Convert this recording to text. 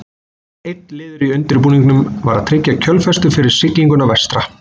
Einn liður í undirbúningnum var að tryggja kjölfestu fyrir siglinguna vestra.